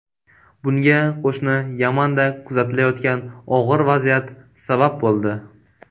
Bunga qo‘shni Yamanda kuzatilayotgan og‘ir vaziyat sabab bo‘ldi.